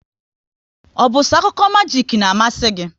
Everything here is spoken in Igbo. Ọ bụ so akụkọ majik n'amasi gị?